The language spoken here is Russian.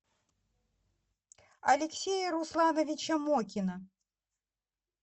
алексея руслановича мокина